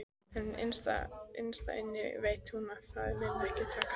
En innst inni veit hún að það mun ekki takast.